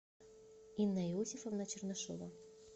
инна иосифовна чернышова